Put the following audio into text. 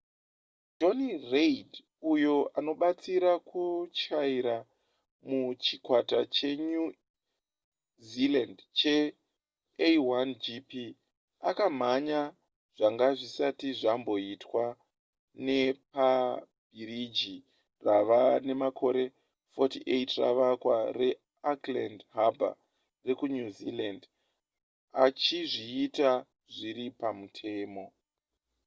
jonny reid uyo anobatsira kutyaira muchikwata chenew zealand chea1gp akamhanya zvanga zvisati zvamboitwa nepabhiriji rava nemakore 48 ravakwa reauckland harbour rekunew zealand achizviita zviri pamutemo